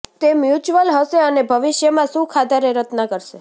તે મ્યુચ્યુઅલ હશે અને ભવિષ્યમાં સુખ આધારે રચના કરશે